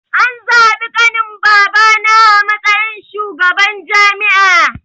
An zabi ƙanin babana a matsayin shugaban jami'a